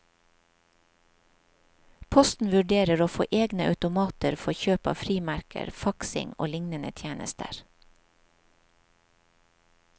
Posten vurderer å få egne automater for kjøp av frimerker, faksing og lignende tjenester.